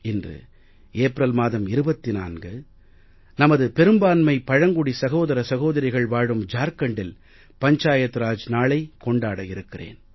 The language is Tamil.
இன்று ஏப்ரல் மாதம் 24 நமது பெரும்பான்மை பழங்குடி சகோதர சகோதரிகள் வாழும் ஜார்க்கண்டில் பஞ்சாயத் ராஜ் நாளைக் கொண்டாட இருக்கிறேன்